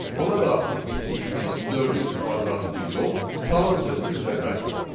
Ona daxil etdiyimiz dördün kvadratını yox, salam sözünü bizə qaytardı.